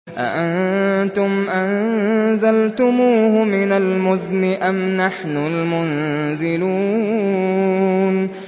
أَأَنتُمْ أَنزَلْتُمُوهُ مِنَ الْمُزْنِ أَمْ نَحْنُ الْمُنزِلُونَ